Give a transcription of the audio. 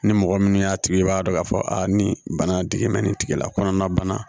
Ni mɔgɔ minnu y'a tigi ye i b'a dɔn k'a fɔ a ni bana bɛ nin tigi la kɔnɔna bana